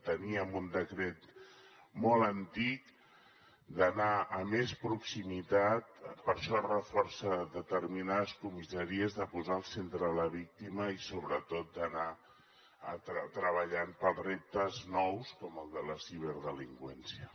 teníem un decret molt antic hem d’anar a més proximitat per això es reforcen determinades comissaries a posar al centre la víctima i sobretot a anar treballant pels reptes nous com el de la ciberdelinqüència